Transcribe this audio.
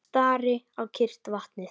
Stari á kyrrt vatnið.